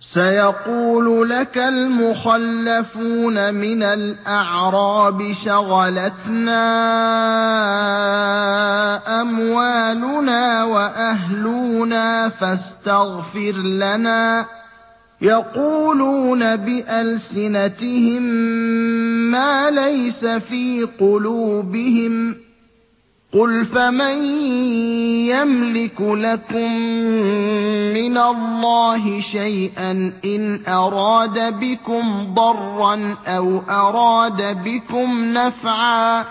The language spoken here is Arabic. سَيَقُولُ لَكَ الْمُخَلَّفُونَ مِنَ الْأَعْرَابِ شَغَلَتْنَا أَمْوَالُنَا وَأَهْلُونَا فَاسْتَغْفِرْ لَنَا ۚ يَقُولُونَ بِأَلْسِنَتِهِم مَّا لَيْسَ فِي قُلُوبِهِمْ ۚ قُلْ فَمَن يَمْلِكُ لَكُم مِّنَ اللَّهِ شَيْئًا إِنْ أَرَادَ بِكُمْ ضَرًّا أَوْ أَرَادَ بِكُمْ نَفْعًا ۚ